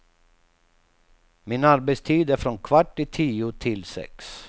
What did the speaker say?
Min arbetstid är från kvart i tio till sex.